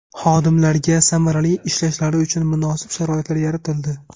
Xodimlarga samarali ishlashlari uchun munosib sharoitlar yaratildi.